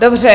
Dobře.